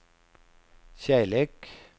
kärlek